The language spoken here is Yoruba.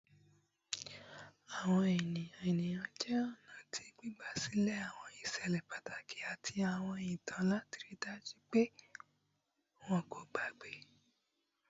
Awọn eniyan eniyan jẹ ọna ti gbigbasilẹ awọn iṣẹlẹ pataki ati awọn itan lati rii daju pe wọn ko gbagbe